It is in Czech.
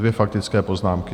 Dvě faktické poznámky.